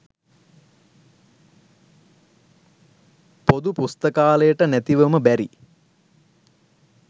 පොදු පුස්තකාලයට නැතිවම බැරි